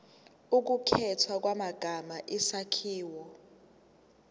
ukukhethwa kwamagama isakhiwo